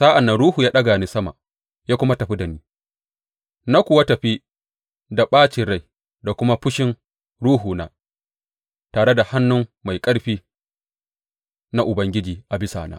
Sa’an nan Ruhu ya ɗaga ni sama ya kuma tafi da ni, na kuwa tafi da ɓacin rai da kuma fushin ruhuna, tare da hannu mai ƙarfi na Ubangiji a bisa na.